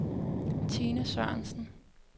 Tine Sørensen